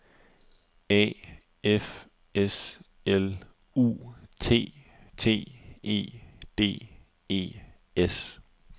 A F S L U T T E D E S